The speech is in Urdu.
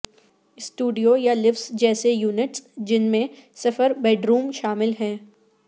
سٹوڈیو یا لفٹس جیسے یونٹس جن میں صفر بیڈروم شامل ہے